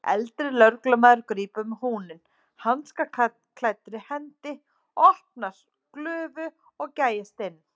Eldri lögreglumaðurinn grípur um húninn hanskaklæddri hendi, opnar glufu og gægist inn.